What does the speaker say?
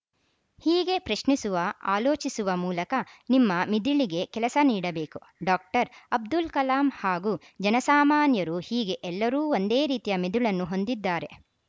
ಹೀಗೆ ಪ್ರಶ್ನಿಸುವ ಆಲೋಚಿಸುವ ಮೂಲಕ ನಿಮ್ಮ ಮಿದುಳಿಗೆ ಕೆಲಸ ನೀಡಬೇಕು ಡಾಕ್ಟರ್ ಅಬ್ದುಲ್‌ ಕಲಾಂ ಹಾಗೂ ಜನಸಾಮಾನ್ಯ ರು ಹೀಗೆ ಎಲ್ಲರೂ ಒಂದೇ ರೀತಿಯ ಮೆದುಳನ್ನು ಹೊಂದಿದ್ದಾರೆ